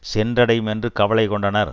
சென்றடையும் என்று கவலை கொண்டனர்